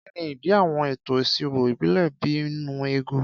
Kí ni ìdí àwọn ètò ìṣirò ìbílẹ̀ bíi nnu ego?